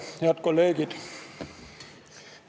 Head kolleegid!